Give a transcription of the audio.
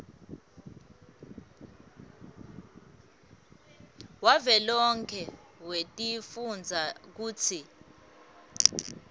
wavelonkhe wetifundza kutsi